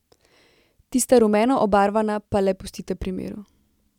Tista rumeno obarvana pa le pustite pri miru.